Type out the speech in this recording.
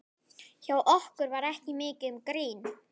Hjá okkur var ekki mikið um grín.